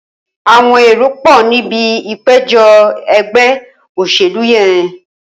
Awọn éró pọ nibi ipéjọ̀ ẹgbẹ óṣélú yèn